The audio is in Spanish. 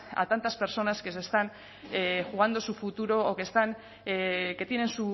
a tantas personas que se están jugando su futuro o que están que tienen